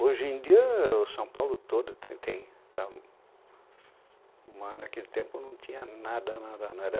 Hoje em dia, o São Paulo todo está, tem... Mas naquele tempo não tinha nada, nada, nada.